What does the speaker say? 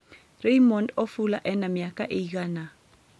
Raymond ofula ena miaka ĩigana